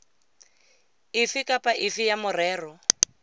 efe kapa efe ya merero